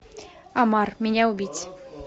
омар меня убить